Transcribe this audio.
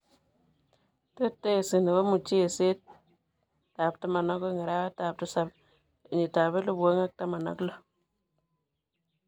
Tetesi nepo mucheset 12:07:2016.